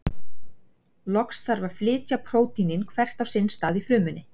Loks þarf að flytja prótínin hvert á sinn stað í frumunni.